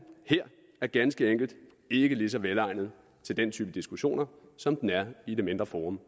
her er ganske enkelt ikke lige så velegnet til den type diskussioner som den er i det mindre forum